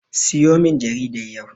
Siyomin jaridar yau.